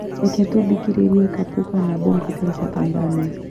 Reke tũthikĩrĩrie kapuka na bongo itarĩ cia Tanzania